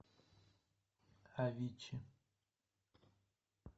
авичи